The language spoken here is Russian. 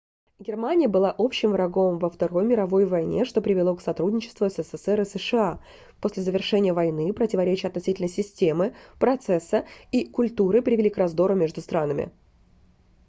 германия была общим врагом во второй мировой войне что привело к сотрудничеству ссср и сша после завершения войны противоречия относительно системы процесса и культуры привели к раздору между странами